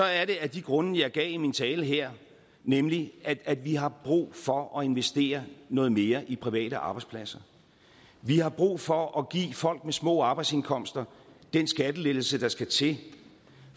er det af de grunde jeg gav i min tale her nemlig at at vi har brug for at investere noget mere i private arbejdspladser vi har brug for at give folk med små arbejdsindkomster den skattelettelse der skal til